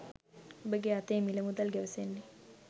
ඔබගේ අතේ මිල මුදල් ගැවසෙන්නේ